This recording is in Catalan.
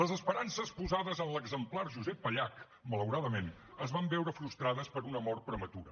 les esperances posades en l’exemplar josep pallach malauradament es van veure frustrades per una mort prematura